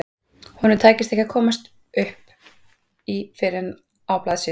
Honum tækist ekki að komast upp í fyrr en á blaðsíðu